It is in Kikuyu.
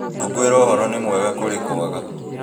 Kũiguĩra ũhoro nĩ wega kũrĩ kwaga